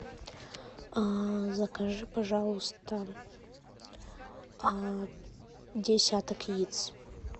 закажи пожалуйста десяток яиц